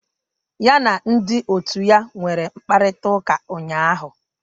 Ya na ndị otu ya nwere mkparịta ụka ụnyahụ